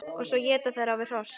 Og svo éta þeir á við hross!